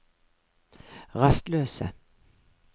rastløse